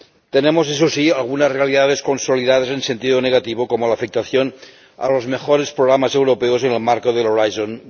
Tenemos, eso sí, algunas realidades consolidadas en sentido negativo, como la afectación a los mejores programas europeos en el marco de Horizonte